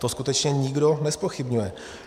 To skutečně nikdo nezpochybňuje.